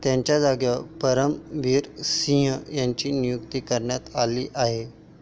त्यांच्याजागी परमबीर सिंह यांची नियुक्ती करण्यात आली आहे.